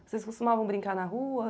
Vocês costumavam brincar na rua?